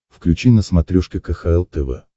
включи на смотрешке кхл тв